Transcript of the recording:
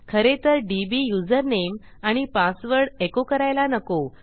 खरेतर DB username आणि password echo करायला नको